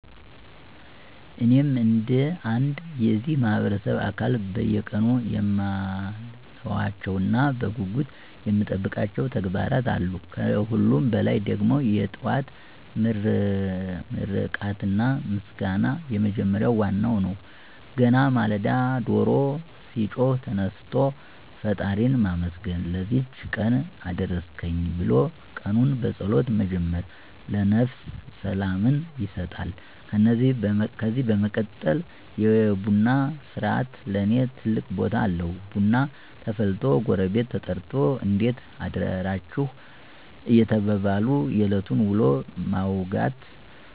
እኔም እንደ አንድ የዚህ ማህበረሰብ አካል በየቀኑ የማልተዋቸውና በጉጉት የምጠብቃቸው ተግባራት አሉ። ከሁሉም በላይ ደግሞ "የጠዋት ምርቃትና ምስጋና" የመጀመሪያውና ዋናው ነው። ገና ማለዳ ዶሮ ሲጮህ ተነስቶ ፈጣሪን ማመስገን፣ "ለዚህች ቀን አደረስከኝ" ብሎ ቀኑን በጸሎት መጀመር ለነፍስ ሰላምን ይሰጣል። ከዚህ በመቀጠል "የቡና ሥርዓት" ለኔ ትልቅ ቦታ አለው፤ ቡና ተፈልቶ ጎረቤት ተጠርቶ "እንዴት አደራችሁ?" እየተባባሉ የዕለቱን ውሎ ማውጋት